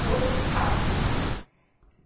A outra ficava.